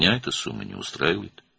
Bu məbləğ məni qane etmir.